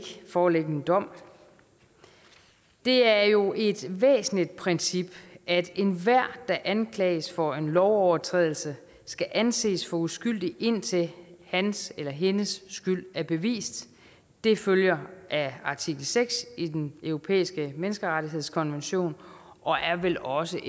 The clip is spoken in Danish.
foreligge en dom det er jo et væsentligt princip at enhver der anklages for en lovovertrædelse skal anses for uskyldig indtil hans eller hendes skyld er bevist det følger af artikel seks i den europæiske menneskerettighedskonvention og er vel også